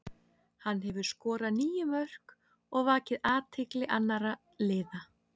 Hann hefur skorað níu mörk og vakið athygli annara liða.